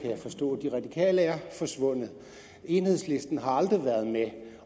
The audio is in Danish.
jeg forstå de radikale er forsvundet enhedslisten har aldrig været med